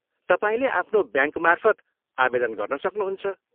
तपाईँले आफ्नो ब्याङ्कमार्फत आवेदन गर्न सक्नुहुन्छ।